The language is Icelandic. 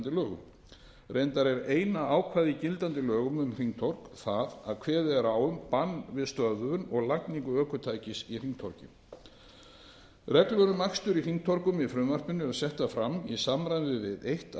lögum reyndar er eina ákvæðið í gildandi lögum um hringtorg það að kveðið er á um bann við stöðvun og lagningu ökutækis í hringtorgi reglur um akstur í hringtorgum í frumvarpinu eru settar fram í samræmi við eitt af